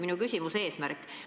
Aga see selleks.